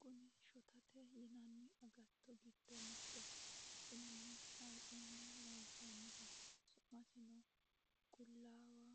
Kunni shottate yinanni aggatto giddo mittoho. kunnino hayixxuni loonisaniho sumasinno qullawa